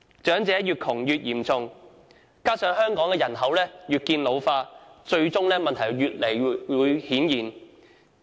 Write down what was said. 長者貧窮問題越來越嚴重，加上香港人口越見老化，最終問題會越來越顯現。